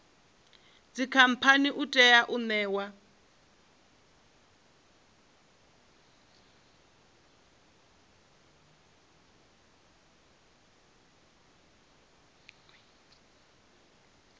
dzikhamphani u tea u ṋewa